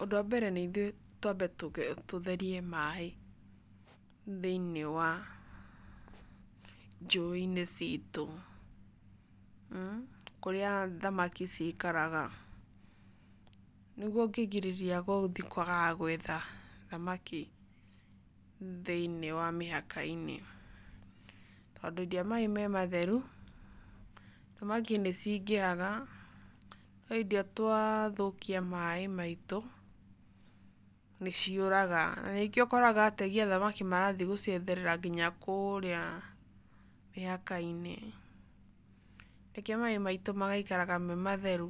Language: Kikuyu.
Ũndũ wa mbere nĩithuĩ twambe tũtherie maĩ, thĩiniĩ wa, njũi-inĩ citũ. Kurĩa thamaki cikaraga, nĩguo ũngĩingĩrĩria gwa gũthiĩ kwagaga gwetha thamaki, thĩiniĩ wa mĩhaka-inĩ. Tondũ hĩndĩ ĩrĩa maĩ me matheru, thanaki nĩcingĩhaga, no hĩndĩ ĩrĩa twathũkia maĩ maitũ, nĩciũraga, na nĩkĩo ũkora ategi a thamaki marathiĩ gũcietherera kinya kũrĩa, mĩhaka-inĩ. Nĩkĩo maĩ maitũ magaikaraga me matheru,